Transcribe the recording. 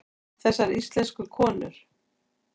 Þessar íslensku konur!